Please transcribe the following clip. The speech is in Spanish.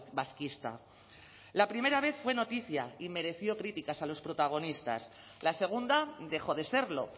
vasquista la primera vez fue noticia y mereció críticas a los protagonistas la segunda dejó de serlo